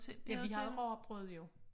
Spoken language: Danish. Ja vi havde rugbrød jo